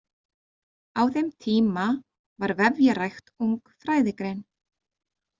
Á þeim tíma var vefjarækt ung fræðigrein.